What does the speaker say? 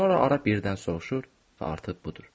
Sonra ara birdən soruşur və artıq budur.